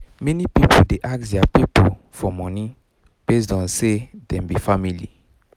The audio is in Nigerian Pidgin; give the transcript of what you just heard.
many people dey ask their people for money based on say dem be family